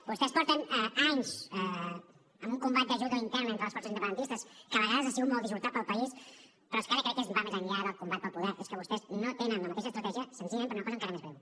vostès porten anys amb un combat de judo intern entre les forces independentistes que a vegades ha sigut molt dissortat per al país però és que ara crec que va més enllà del combat pel poder és que vostès no tenen la mateixa estratègia senzillament per una cosa encara més greu